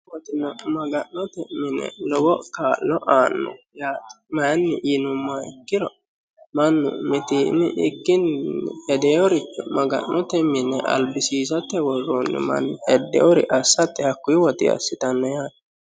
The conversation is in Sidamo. maga'note mini lowo kaa'lo aanno yaate mayiinni yinummoha ikkkiro mannu mittiimmi ikkinni hedeericho maga'note mine abbisiisate worroonni manni hedeere assate hakkuyi woxinni assitanno yaate.